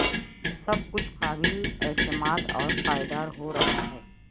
سب کچھ قابل اعتماد اور پائیدار ہو رہا ہے